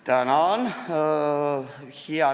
Tänan!